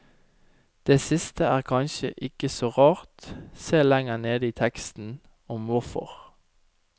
Det siste er kanskje ikke så rart, se lenger nede i teksten om hvorfor.